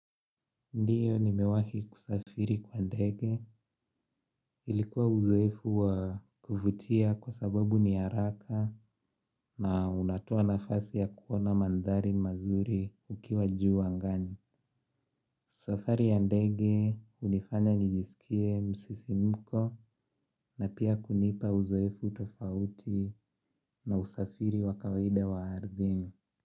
Ndiyo nimewahi kusafiri kwa ndege ilikuwa uzoefu wa kufutia kwa sababu niyaraka na unatoa nafasi ya kuona mandhari mazuri ukiwa juu angani. Safari ya ndege unifanya nijisikie msisimuko na pia kunipa uzoefu tofauti na usafiri wa kawaida wa ardhimi.